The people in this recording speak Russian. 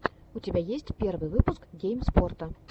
у тебя есть первый выпуск гейм спота